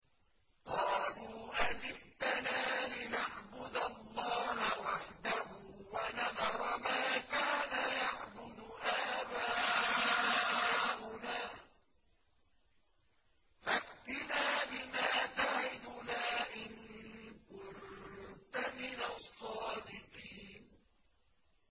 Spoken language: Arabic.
قَالُوا أَجِئْتَنَا لِنَعْبُدَ اللَّهَ وَحْدَهُ وَنَذَرَ مَا كَانَ يَعْبُدُ آبَاؤُنَا ۖ فَأْتِنَا بِمَا تَعِدُنَا إِن كُنتَ مِنَ الصَّادِقِينَ